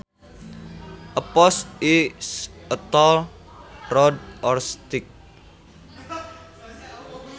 A post is a tall rod or stick